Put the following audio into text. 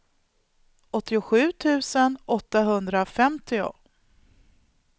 åttiosju tusen åttahundrafemtio